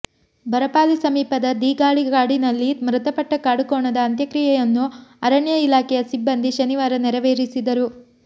ಬರಪಾಲಿ ಸಮೀಪದ ದೀಗಾಳಿ ಕಾಡಿನಲ್ಲಿ ಮೃತಪಟ್ಟ ಕಾಡುಕೋಣದ ಅಂತ್ಯಕ್ರಿಯೆಯನ್ನು ಅರಣ್ಯ ಇಲಾಖೆಯ ಸಿಬ್ಬಂದಿ ಶನಿವಾರ ನೆರವೇರಿಸಿದರು